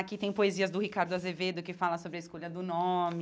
Aqui tem poesias do Ricardo Azevedo que fala sobre a escolha do nome.